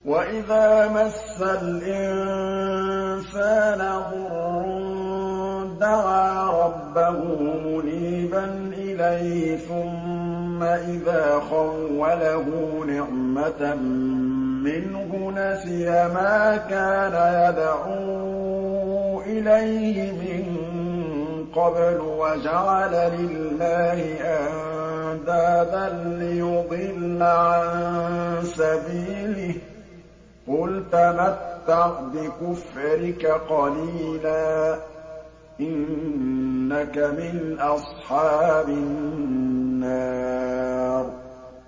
۞ وَإِذَا مَسَّ الْإِنسَانَ ضُرٌّ دَعَا رَبَّهُ مُنِيبًا إِلَيْهِ ثُمَّ إِذَا خَوَّلَهُ نِعْمَةً مِّنْهُ نَسِيَ مَا كَانَ يَدْعُو إِلَيْهِ مِن قَبْلُ وَجَعَلَ لِلَّهِ أَندَادًا لِّيُضِلَّ عَن سَبِيلِهِ ۚ قُلْ تَمَتَّعْ بِكُفْرِكَ قَلِيلًا ۖ إِنَّكَ مِنْ أَصْحَابِ النَّارِ